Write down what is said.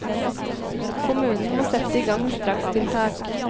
Kommunen må sette i gang strakstiltak.